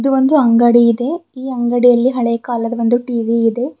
ಒಂದು ಅಂಗಡಿ ಇದೆ ಈ ಅಂಗಡಿಯಲ್ಲಿ ಹಳೆ ಕಾಲದ ಒಂದು ಟಿ_ವಿ ಇದೆ.